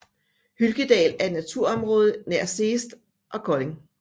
Hylkedal er et naturområde nær Seest og Kolding